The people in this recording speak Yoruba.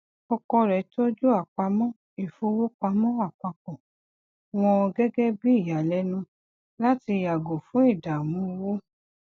ọkọ rẹ tọju àpamọ ifowo pamọ apapọ wọn gẹgẹ bí ìyàlénu láti yàgò fún ìdààmú owó